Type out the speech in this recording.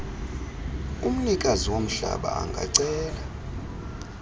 umnikazi womhlaba angacela